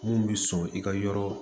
Mun bi sɔn i ka yɔrɔ